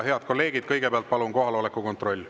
Head kolleegid, kõigepealt palun kohaloleku kontroll.